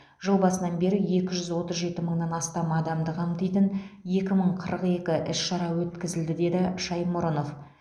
жыл басынан бері екі жүз отыз жеті мыңнан астам адамды қамтитын екі мың қырық екі іс шара өткізілді деді шаймұрынов